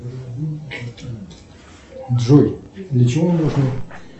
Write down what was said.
джой для чего нужно